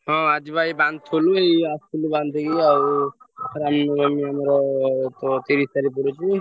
ହଁ ଆଜି ବା ବାନ୍ଧୁଥିଲି ଆସିଲି ବାନ୍ଧିକି ଆଉ ରାମନବମୀ ଆମର୍ ତ ତିରିଶ ତାରିଖ୍ ରେ ପଡୁଚି।